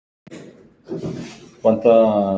Hef ég sofið hjá henni?